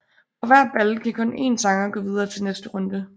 Fra hver battle kan kun en sanger gå videre til næste runde